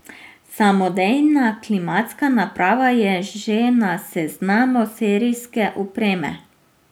Samodejna klimatska naprava je že na seznamu serijske opreme.